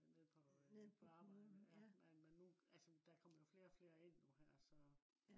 nede på øh arbejdet ja. men men nu altså der kommer flere og flere ind nu her så